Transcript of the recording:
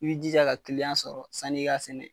I b;i jija ka kiliyan sɔrɔ sann'i ka sɛnɛ.